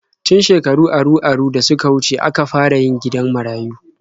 Tun shekaru aru-aru da suka wuce aka fara yin gidan marayu.